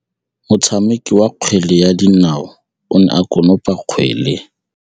Motshameki wa kgwele ya dinaô o ne a konopa kgwele.